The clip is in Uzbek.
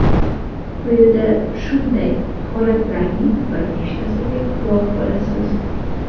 Quyida shunday holatlarning bir nechtasiga guvoh bo‘lasiz.